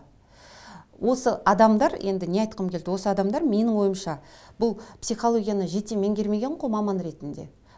осы адамдар енді не айтқым келді осы адамдар менің ойымша бұл психологияны жете меңгермеген ғой маман ретінде